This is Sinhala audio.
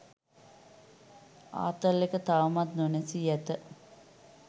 ආතල් එක තවමත් නොනැසී ඇත.